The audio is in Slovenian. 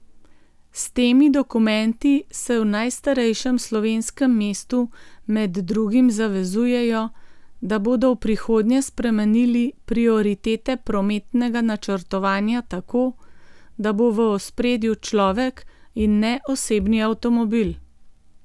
S temi dokumenti se v najstarejšem slovenskem mestu med drugim zavezujejo, da bodo v prihodnje spremenili prioritete prometnega načrtovanja tako, da bo v ospredju človek in ne osebni avtomobil.